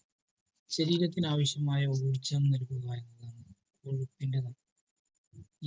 ശരീരത്തിന് ആവിശ്യമായ ഊർജങ്ങൾ നൽകുവാനുള്ള protein നുകൾ